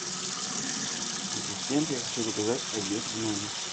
ассистент я хочу заказать обед в номер